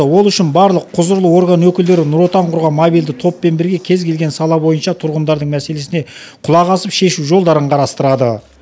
ол үшін барлық құзырлы орган өкілдері нұр отан құрған мобильді топпен бірге кез келген сала бойынша тұрғындардың мәселесіне құлақ асып шешу жолдарын қарастырады